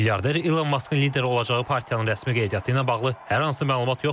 Milyarder İlon Maskın lideri olacağı partiyanın rəsmi qeydiyyatı ilə bağlı hər hansı məlumat yoxdur.